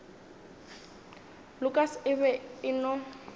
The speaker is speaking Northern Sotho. lukas e be e no